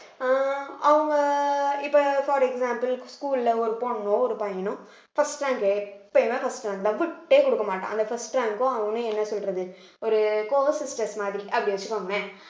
ஆஹ் அவங்க இப்ப for example school அ ஒரு பொண்ணோ ஒரு பையனோ first rank first rank love விட்டே குடுக்க மாட்டான் அந்த first rank க்கும் அவனும் என்ன சொல்றது ஒரு co sisters மாதிரி அப்படி வச்சுக்கோங்களேன்